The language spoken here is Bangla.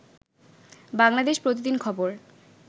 বাংলাদেশ প্রতিদিন খবর